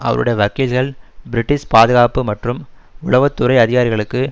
அவருடைய வக்கீல்கள் பிரிட்டிஷ் பாதுகாப்பு மற்றும் உளவு துறை அதிகாரிகளுக்கு